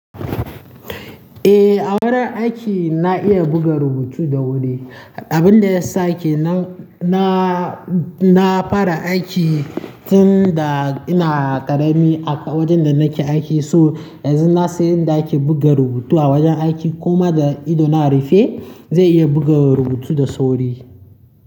Eh, a wurin aiki na iya buga rubutu da wuri. Abin da ya sakenan nan na, na fara aiki tun da ina ƙarami a wajen da nake aiki, so yanzu na san yadda ake buga rubutu a wajen aiki kuma da ido na rufe zai iya buga rubutu da sauri.